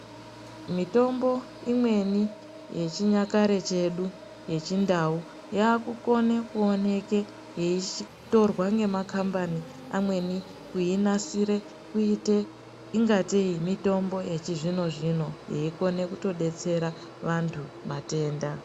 Mitombo imweni yechinyakare chedu yechindau yakukone kuoneke yeitorwa nemakambani amweni kuinasire ingatei mitombo yechizvino-zvino, yeikone kutobetsera vantu matenda.